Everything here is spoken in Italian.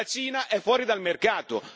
La Cina è fuori dal mercato.